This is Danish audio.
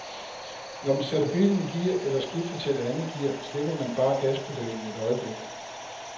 Når man sætter bilen i gear eller skifter til et andet gear, slipper man bare gaspedalen et øjeblik.